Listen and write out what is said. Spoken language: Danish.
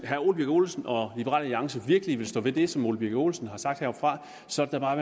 herre ole birk olesen og liberal alliance virkelig vil stå ved det som herre ole birk olesen har sagt heroppefra så er